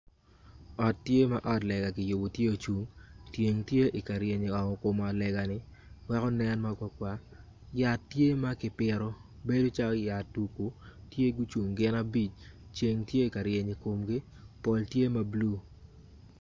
Ot tye ma otlega tye ocung ceng tye ka ryen i wi ot lega man weko nen ma kwakwa yat tye ma kipito bedo calo tye gucung gin abic ceng tye ka reny i komgi pol tye mabulu.